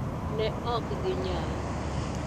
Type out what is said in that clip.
Ne ok ginyal.